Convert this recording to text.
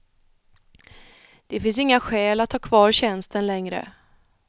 Det finns inga skäl att ha kvar tjänsten längre.